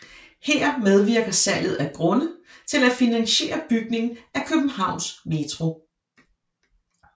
Her medvirker salget af grunde til at finansiere bygningen af Københavns Metro